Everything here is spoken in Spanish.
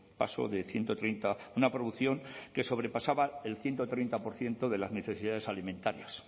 paso de ciento treinta una producción que sobrepasaba el ciento treinta por ciento de las necesidades alimentarias